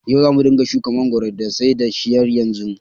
Yanzu zamu ringa shuka mangoro da sai da shi yanzu.